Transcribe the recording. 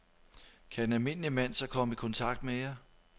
Kan en almindelig mand så komme i kontakt med jer?